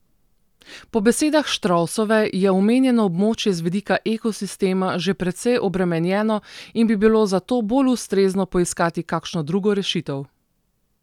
Po besedah Štrovsove je omenjeno območje z vidika ekosistema že precej obremenjeno in bi bilo za to bolj ustrezno poiskati kakšno drugo rešitev.